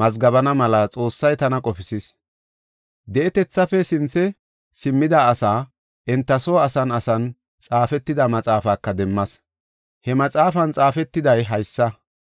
mazgabana mela Xoossay tana qofisis. Di7etethaafe sinthe simmida asaa enta soo asan asan xaafetida maxaafaka demmas; he maxaafan xaafetiday haysa.